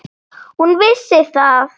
Hún vissi það.